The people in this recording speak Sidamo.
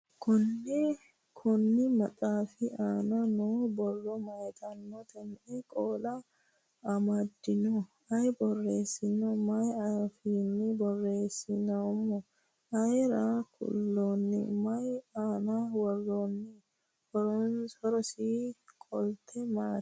Konni maxxaffi aanna noo borro mayiittanotte? Me'e qoola amadinno? Ayi borreessinno? Mayi affinni borreessamminno? Ayiire kullanno? Mayi aanna woramminno? Horosi qolitte maati?